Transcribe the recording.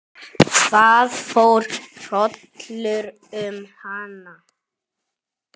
Það fór hrollur um hana.